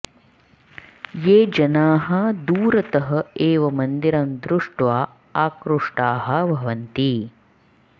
ये जनाः दूरतः एव मन्दिरं दृष्ट्वा आकृष्टाः भवन्ति